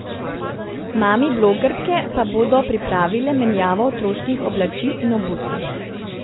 Mami blogerke pa bodo pripravile menjavo otroških oblačil in obutve.